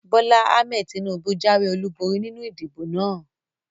Bólá Ahmed Tinúbú jáwé ọlúborí nínu ìdìbò náà